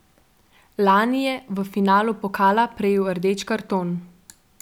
Lani je v finalu pokala prejel rdeči karton.